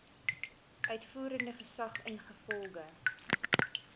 uitvoerende gesag ingevolge